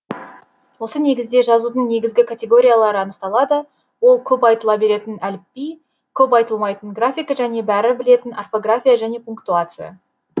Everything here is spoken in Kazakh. осы негізде жазудың негізгі категориялары анықталады ол көп айтыла беретін әліпби көп айтылмайтын графика және бәрі білетін орфография және пунктуация